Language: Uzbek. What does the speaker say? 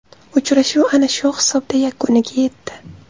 Uchrashuv ana shu hisobda yakuniga yetdi.